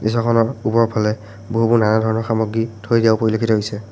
দৃশ্যখনত পূবৰ ফালে বহু-বহু নানা ধৰণৰ সামগ্ৰী থৈ দিয়াও পৰিলক্ষিত হৈছে।